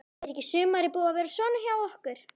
Er ekki sumarið búið að vera svona hjá okkur?